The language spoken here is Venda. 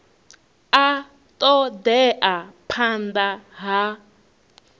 a ṱo ḓea phanḓa ha